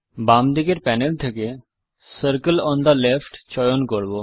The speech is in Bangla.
বাম দিকের প্যানেল থেকে সার্কেল ওন থে লেফ্ট চয়ন করব